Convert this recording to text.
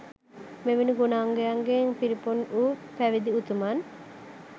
මෙවැනි ගුණයන්ගෙන් පිරිපුන් වූ පැවිදි උතුමන්